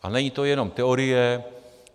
A není to jenom teorie.